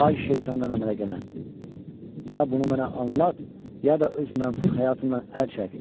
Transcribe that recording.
Ay şeytandan əmələ gələn, ya bunu mənə anlat, ya da öz mənfur həyatından əl çək!